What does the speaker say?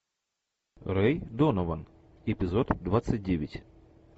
рэй донован эпизод двадцать девять